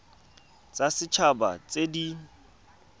tsa set haba tse di